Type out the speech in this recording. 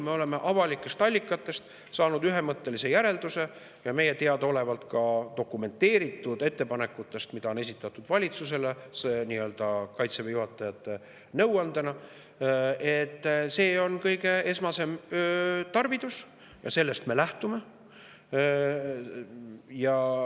Me oleme saanud teha ühemõttelise järelduse avalike allikate põhjal ja meile teadaolevate dokumenteeritud ettepanekute põhjal, mida on esitatud valitsusele Kaitseväe juhatajate nõuandena, et see on kõige esmasem tarvidus, ja sellest me lähtume.